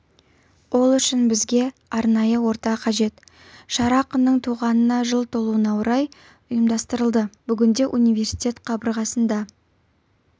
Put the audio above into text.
ол үшін бізге арнайы орта қажет шара ақынның туғанына жыл толуына орай ұйымдастырылды бүгінде университет қабырғасында